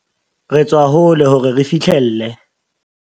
Re tswa hole hore re fihlelle.